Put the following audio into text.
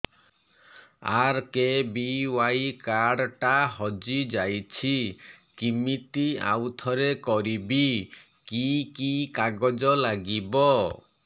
RKBY card ଟା ହଜିଯାଇଛି କିମିତି ଆଉଥରେ କରିବି କି କି କାଗଜ ଲାଗିବ